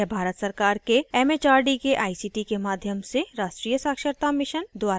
यह भारत सरकार के एमएचआरडी के आईसीटी के माध्यम से राष्ट्रीय साक्षरता mission द्वारा समर्थित है